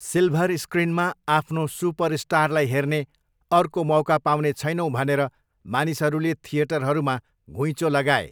Silver स्क्रिनमा आफ्नो सुपरस्टारलाई हेर्ने अर्को मौका पाउने छैनौँ भनेर मानिसहरूले थिएटरहरूमा घुइँचो लगाए।